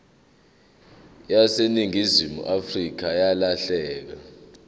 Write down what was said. yaseningizimu afrika yalahleka